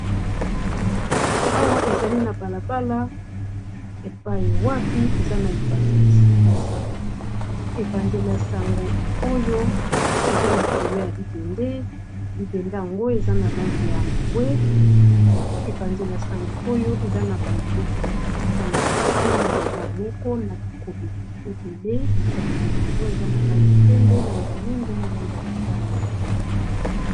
awa ezali na balabala epaye wapi eza na epanzele ya sango epanzele ya sango oyo eza likolo ya libende libende yango eza na lange ya mbwe epanzele ya sango oyo eza na baelili ya batata misato na mama moko na bikomeli ebele bikomeli yango eza na lange ya pembe lange ya mwindo na lange ya motano